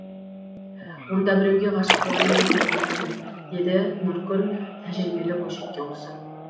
онда біреуге ғашық болайын деп жүргенсің деді нұркүл тәжірибелі бойжеткен құсап